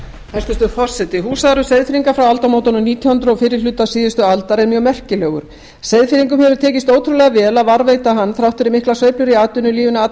hæstvirtur forseti hús seyðfirðinga frá aldamótunum nítján hundruð á fyrri hluta síðustu aldar er mjög merkilegur seyðfirðingum hefur tekist ótrúlega vel að varðveita hann þrátt fyrir miklar sveiflur í atvinnulífinu alla